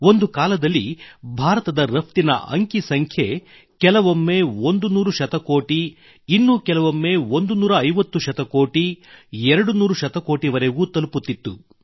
ಒಂದು ಕಾಲದಲ್ಲಿ ಭಾರತದ ರಫ್ತಿನ ಅಂಕಿ ಸಂಖ್ಯೆ ಕೆಲವೊಮ್ಮೆ 100 ಶತಕೋಟಿ ಇನ್ನು ಕೆಲವೊಮ್ಮೆ 150 ಶತಕೋಟಿ 200 ಶತಕೋಟಿವರೆಗೂ ತಲುಪುತ್ತಿತ್ತು